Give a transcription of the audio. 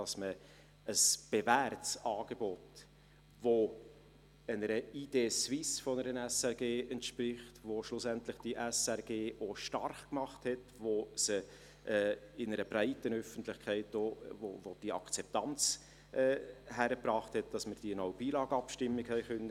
Es geht um ein bewährtes Angebot, das einer «Idée Suisse» der SRG entspricht, das schlussendlich die SRG auch stark gemacht hat und das in einer breiten Öffentlichkeit die Akzeptanz hingekriegt hat, dass wir die «No Billag»-Abstimmung gewinnen konnten.